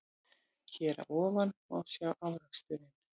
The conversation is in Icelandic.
Hér að ofan má sjá afraksturinn.